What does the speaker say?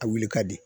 A wuli ka di